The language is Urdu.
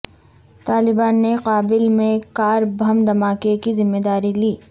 طالبان نے کابل میں کار بم دھماکے کی ذمہ داری لی